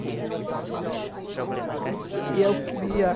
Fique à vontade, pode falar. E eu queria